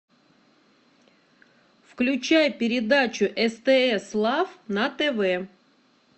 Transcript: включай передачу стс лав на тв